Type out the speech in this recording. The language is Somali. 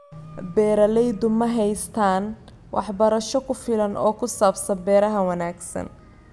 Beeraleydu ma haystaan ??waxbarasho ku filan oo ku saabsan beeraha wanaagsan.